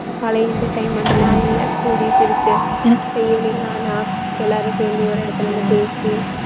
பழைய entertainment எல்லாம் இல்லை கூடி சிரிச்சு evening ஆனா எல்லாரும் சேர்ந்து ஒரு இடத்துல வந்து பேசி